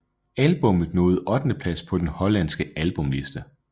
Albumet nåede ottendeplads på den hollandske albumliste